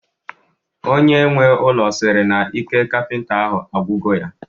Onye nwe ụlọ sịrị na ike kapịnta ahụ agwugo ya